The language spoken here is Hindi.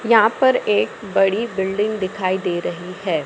यहां पर एक बड़ी बिल्डिंग दिखाई दे रही है।